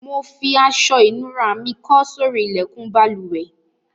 Mo fi aso ìnura mi kó sórí ilékùn balùwè